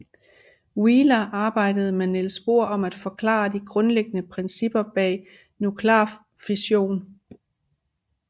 Wheeler arbejdede med Niels Bohr om at forklare de grundlæggende principper bag nuklear fission